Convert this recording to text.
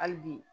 Hali bi